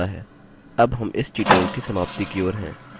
अब हम इस tutorial की समाप्ति की ओर हैं